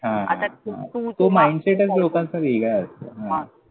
हां हां, तो तो माईंडसेटच लोकांचा वेगळाय